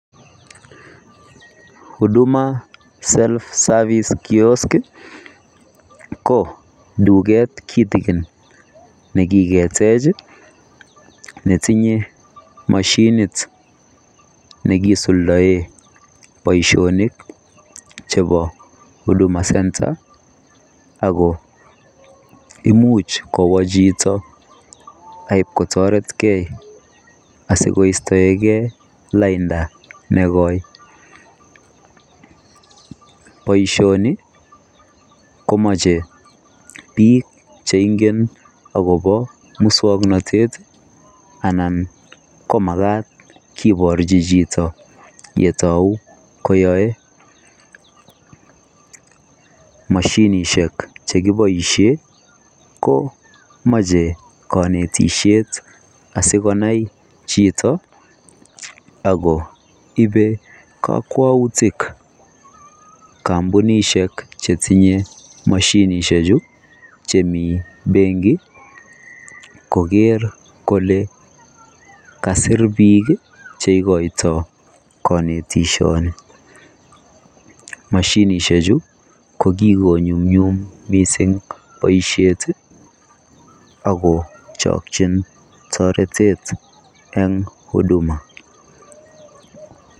[huduma self service kiosk] ii ko dukeet kitikin nekiketeech netinye mashiniit nekiisuldaen bosionik chebo huduma [center] ako imuuch kowaa chitoo ib kotarekei asi koista engei laindaa nekoi boisioni komachei biik che ngeen agobo musangnatet makaat kibarjii chitoo ole kibaishaitoi mashinisheek chekibaisheen ko machei kanetisheet asikonai chitoo ako ibe kakwautiik kampunisheek che tinyei mashinisheek chuu chemii benkkii koger kole kasiir biik che igoitoi kanetisheet nii mashinisheek chuu ko kikonyunyum missing boisiet ako chakyiin taretet eng huduma.